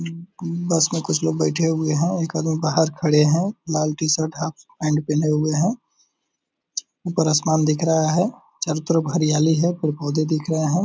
उम्म bus में कुछ लोग बेठे हुए हैं और एक आदमी बाहर खड़े हैं | लाल टी-शर्ट हाफ पैंट पहने हुए हैं | उपर आसमान दिख रहा है चारो तरफ़ हरायाली हैं | पेड़ पौधे दिख रहे हैं |